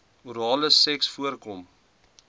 orale seks voorkom